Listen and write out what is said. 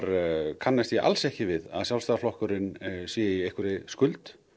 kannast ég alls ekki við að Sjálfstæðisflokkurinn sé í einhverri skuld